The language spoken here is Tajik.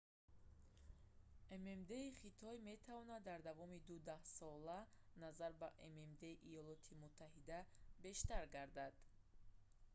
ммд-и хитой метавонад дар давоми ду даҳсола назар ба ммд-и иёлоти муттаҳида бештар гардад